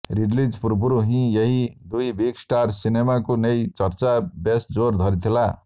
release ପୂର୍ବରୁ ହିଁ ଏହି ଦୁଇ ବିଗ ଷ୍ଟାର ସିନେମାକୁ ନେଇ ଚର୍ଚ୍ଚା ବେଶ ଜୋର ଧରିଥିଲା